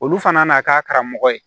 Olu fana n'a ka karamɔgɔ ye